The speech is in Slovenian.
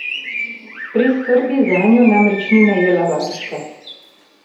Pri skrbi zanjo namreč ni najela varuške.